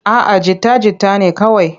A'a jita-jita ne kawai.